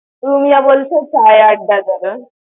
রুমিয়া বলছে Chai Adda যাবে।